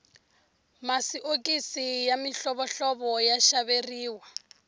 masiokisi ya mihlovohlovo ya xaveriwa